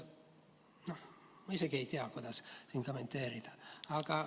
No ma isegi ei tea, kuidas seda kommenteerida.